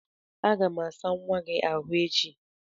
Aga m asa nwa gị ahụ echi.